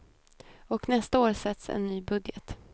Och nästa år sätts en ny budget.